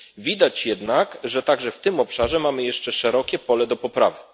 Widać jednak, że także w tym obszarze mamy jeszcze szerokie pole do poprawy.